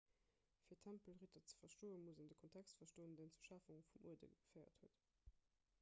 fir d'tempelritter ze verstoen muss een de kontext verstoen deen zur schafung vum uerde geféiert huet